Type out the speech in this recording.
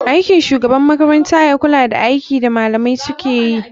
Aikin shugaban makarantane ya kula da aikin da malamai sukeyi.